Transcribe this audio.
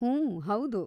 ಹೂಂ, ಹೌದು.